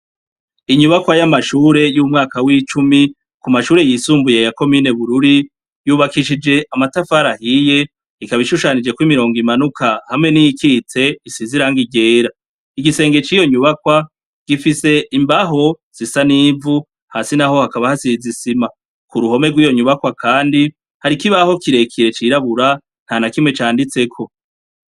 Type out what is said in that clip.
Inyubakwa y'amashure y'umwaka w'icumi ku mashure yisumbuye yakominebururi yubakishije amatafarahiye ikaba ishushanije kw'imirongo imanuka hamwe n'ikitse isi ziranga iryera igisenge c'iyo nyubakwa gifise imbaho sisa n'ivu hasi na ho hakaba hasizisima ku ruhome rw'iyonyubaka kwa, kandi harikoibaho kirekire cirabura nta na kimwe canditseko.